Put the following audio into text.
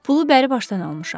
Pulu bəri başdan almışam.